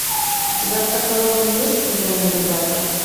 у тебя в каталоге есть элен и ребята